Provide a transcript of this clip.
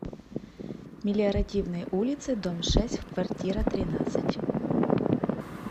мелиоративной улице дом шесть в квартира тринадцать